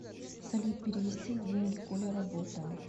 салют перевести деньги коля работа